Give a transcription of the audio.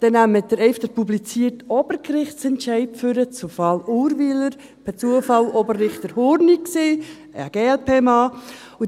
Nehmen Sie den publizierten Obergerichtsentscheid zum Fall Urwyler hervor, per Zufall war es Oberrichter Hurni, ein glp-Mann.